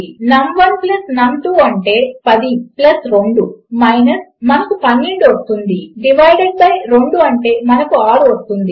నమ్1 plus నమ్ 2 అంటే 10 plus 2 మనకు 12 వస్తుంది డివైడెడ్ బై 2 అంటే మనకు 6 వస్తుంది